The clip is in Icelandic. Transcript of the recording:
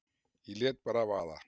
Ég lét bara vaða